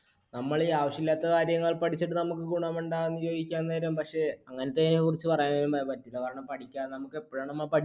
നമ്മളീ ആവശ്യം ഇല്ലാത്ത കാര്യങ്ങൾ പഠിച്ചിട്ട് നമുക്ക് ഗുണം ഉണ്ടോന്ന് ചോദിക്കാൻ നേരം പക്ഷെ അങ്ങനതേനെ കുറിച്ച് പറയാനും പറ്റില്ല. കാരണം പഠിക്കാൻ